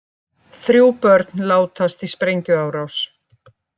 Þrjú börn látast í sprengjuárás